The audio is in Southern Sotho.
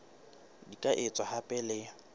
di ka etswa hape le